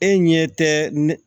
E ɲɛ tɛ ne